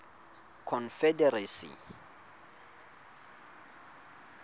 confederacy